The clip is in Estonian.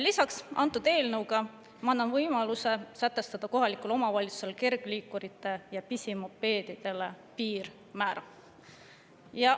Lisaks, selle eelnõuga annan ma võimaluse sätestada kohalikul omavalitsusel kergliikuritele ja pisimopeedidele piirmäära.